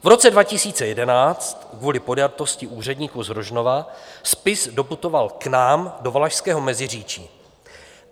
V roce 2011 kvůli podjatosti úředníku z Rožnova spis doputoval k nám do Valašského Meziříčí.